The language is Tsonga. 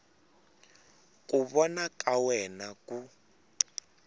ku vona ka wena ku